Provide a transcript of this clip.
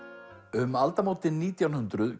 um aldamótin nítján hundruð